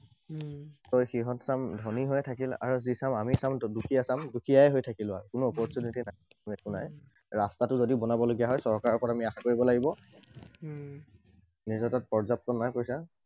সিহঁত চাম ধনী হৈ থাকিল, আৰু যি চাম আমি চাম, দুখীয়া চাম, দুখীয়ায়ে হৈ থাকিলো আৰু। কোনো opportunity নাই। একো নাই, ৰাস্তাটোও যদি বনাবলগীয়া হয়, চৰকাৰৰ ওপৰত আমি আশা কৰিব লাগিব। নিজৰতো পৰ্যাপ্ত নাই পইছা।